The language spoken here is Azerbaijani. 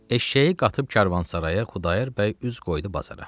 Eşşəyi qatıb karvansaraya Xudayar bəy üz qoydu bazara.